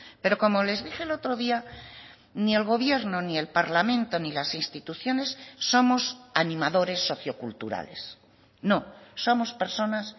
pero como les dije el otro día ni el gobierno ni el parlamento ni las instituciones somos animadores socioculturales no somos personas